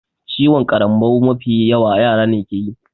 Ciwon ƙarambau mafi yawa yara ne keyi